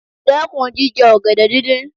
Dẹ́kun jíjẹ ọ̀gẹ̀dẹ̀ dídín.